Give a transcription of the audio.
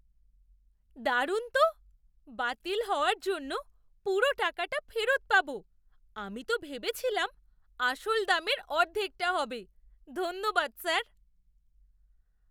দারুণ তো! বাতিল হওয়ার জন্য পুরো টাকাটা ফেরত পাব, আমি তো ভেবেছিলাম আসল দামের অর্ধেকটা হবে। ধন্যবাদ স্যার।